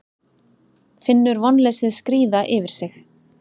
Finnur vonleysið skríða yfir sig.